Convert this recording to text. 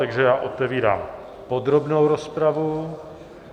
Takže já otevírám podrobnou rozpravu.